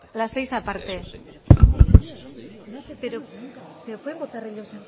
la seis aparte eso es pero pueden votar ellos